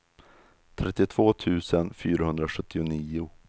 trettiotvå tusen fyrahundrasjuttionio